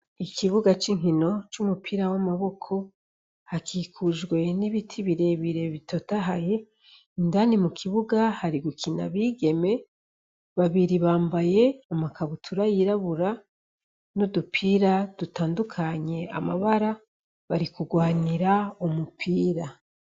Ikibuga c'inkino c'umupira w'amaboko hakikujwe n'ibiti birebire bitotahaye, indani mu kibuga hari gukina abigeme babiri bambaye amakabutura yirabura n'udupira dutandukanye amabara, bari kugwanira umupira.